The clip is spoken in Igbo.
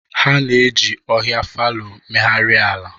Ha na-eji ohia fallow megharịa ala.